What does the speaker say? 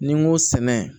Ni n ko sɛnɛ